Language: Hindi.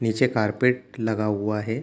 नीचे कारपेट लगा हुआ है।